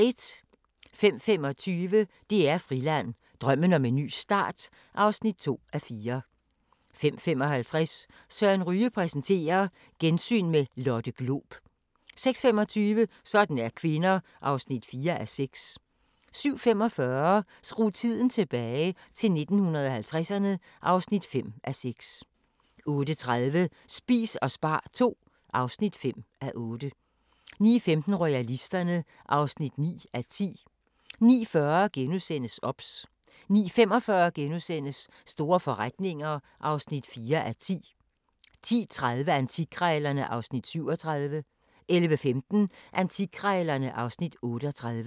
05:25: DR Friland: Drømmen om en ny start (2:4) 05:55: Søren Ryge præsenterer: Gensyn med Lotte Glob 06:25: Sådan er kvinder (4:6) 07:45: Skru tiden tilbage – til 1950'erne (5:6) 08:30: Spis og spar II (5:8) 09:15: Royalisterne (9:10) 09:40: OBS * 09:45: Store forretninger (4:10)* 10:30: Antikkrejlerne (Afs. 37) 11:15: Antikkrejlerne (Afs. 38)